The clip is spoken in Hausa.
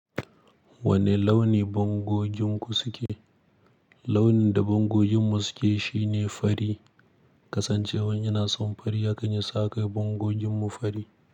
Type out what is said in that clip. Wane launi bangoginku suke? Launin da bangogin mu suke shine fari. Kasancewan ina son fari haka yasa akai bangoginmu fari.